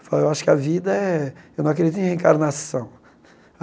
Falei eu acho que a vida é eu não acredito em reencarnação.